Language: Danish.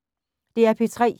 DR P3